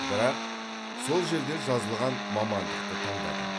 бірақ сол жерде жазылған мамандықты таңдадым